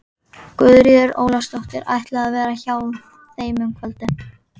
Guðríður Ólafsdóttir ætlaði að vera hjá þeim um kvöldið.